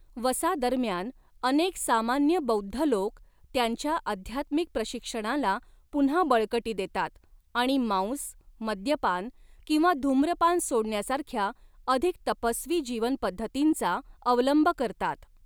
वसा दरम्यान, अनेक सामान्य बौद्ध लोक त्यांच्या आध्यात्मिक प्रशिक्षणाला पुन्हा बळकटी देतात आणि मांस, मद्यपान किंवा धूम्रपान सोडण्यासारख्या अधिक तपस्वी जीवन पद्धतींचा अवलंब करतात.